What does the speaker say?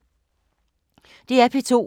DR P2